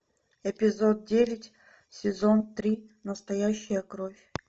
эпизод девять сезон три настоящая кровь